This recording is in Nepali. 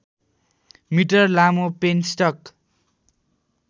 मिटर लामो पेनस्टक